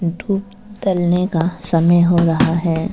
धूप ढलने का समय हो रहा है।